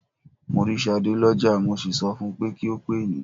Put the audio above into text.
Mo rí Ṣadé lọ́jà, mo sì sọ fun pé kí ó pè yín.